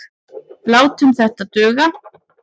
Látum þetta duga.